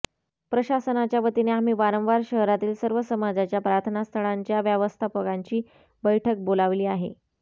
प्रशासनाच्यावतीने आम्ही वारंवार शहरातील सर्व समाजाच्या प्रार्थनास्थळांच्या व्यवस्थापकांची बैठक बोलावली आहे